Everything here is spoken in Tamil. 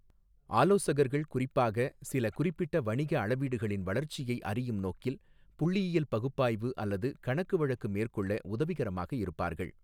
ஆலோசகர்கள் குறிப்பாக, சில குறிப்பிட்ட வணிக அளவீடுகளின் வளர்ச்சியை அறியும் நோக்கில் புள்ளியியல் பகுப்பாய்வு அல்லது கணக்குவழக்கு மேற்கொள்ள உதவிகரமாக இருப்பார்கள்.